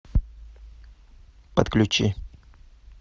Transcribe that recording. подключи